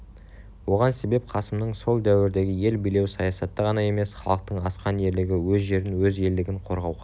оған себеп қасымның сол дәуірдегі ел билеу саясаты ғана емес халықтың асқан ерлігі өз жерін өз елдігін қорғауға